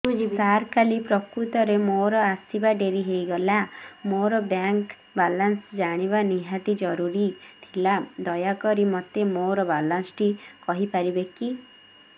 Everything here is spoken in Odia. ସାର କାଲି ପ୍ରକୃତରେ ମୋର ଆସିବା ଡେରି ହେଇଗଲା ମୋର ବ୍ୟାଙ୍କ ବାଲାନ୍ସ ଜାଣିବା ନିହାତି ଜରୁରୀ ଥିଲା ଦୟାକରି ମୋତେ ମୋର ବାଲାନ୍ସ ଟି କହିପାରିବେକି